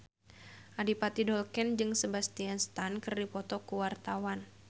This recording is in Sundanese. Adipati Dolken jeung Sebastian Stan keur dipoto ku wartawan